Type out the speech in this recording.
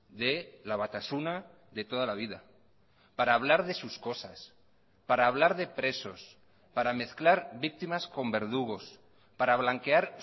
de la batasuna de toda la vida para hablar de sus cosas para hablar de presos para mezclar víctimas con verdugos para blanquear